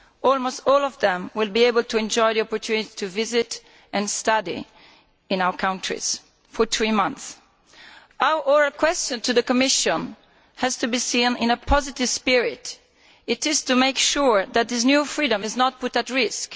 almost all of them will be able to enjoy the opportunity to visit and study in our countries for three months. Our oral question to the Commission has to be seen in a positive spirit. It is to make sure that this new freedom is not put at risk.